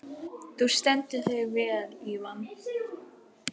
Þú stendur þig vel, Ívan!